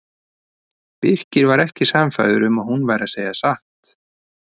Birkir var ekki sannfærður um að hún væri að segja satt.